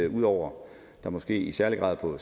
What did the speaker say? ud over at der måske i særlig grad på